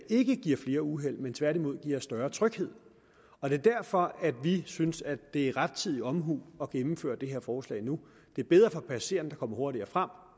ikke giver flere uheld men tværtimod giver større tryghed og det er derfor vi synes at det er rettidig omhu at gennemføre det her forslag nu det er bedre for passagererne der kommer hurtigere frem